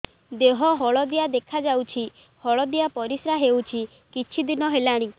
ଦେହ ହଳଦିଆ ଦେଖାଯାଉଛି ହଳଦିଆ ପରିଶ୍ରା ହେଉଛି କିଛିଦିନ ହେଲାଣି